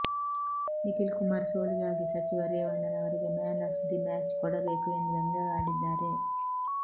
ನಿಖಿಲ್ ಕುಮಾರ್ ಸೋಲಿಗಾಗಿ ಸಚಿವ ರೇವಣ್ಣನವರಿಗೆ ಮ್ಯಾನ್ ಆಫ್ ದಿ ಮ್ಯಾಚ್ ಕೊಡಬೇಕು ಎಂದು ವ್ಯಂಗ್ಯವಾಡಿದ್ದಾರೆ